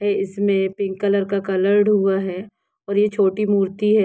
ऐ इसमे pink colour का coloured हुआ है और ये छोटी मूर्ति है।